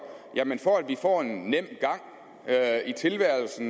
for at vi kan få en nem tilværelse